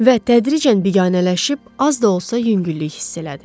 Və tədricən biganələşib, az da olsa yüngüllük hiss elədi.